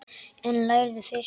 En lærðu fyrst.